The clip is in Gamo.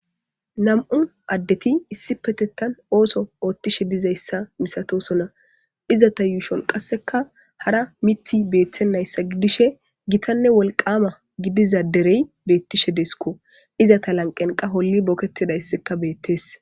2 adet issipetetan ooso otishe dizaysa misatosona, izet yushon qaseka hara mity betenaysa gidishe gitanne wolqama gidida derey betishe de'esko. Ize lanqen qas hol boketidayska betes.